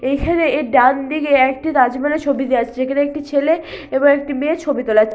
এইখানে এর ডানদিকে একটি রাজমহলের ছবি দেওয়া রয়েছে যেখানে একটি ছেলে এবং একটি মেয়ের ছবি তোলা হয়ে--